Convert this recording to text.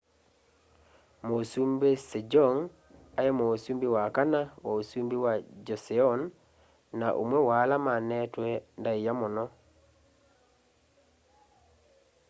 mũsumbĩ sejong aĩ mũsumbĩ wa kana wa ũsumbĩ wa joseon na ũmwe wa ala mane'twe ndaĩa mũno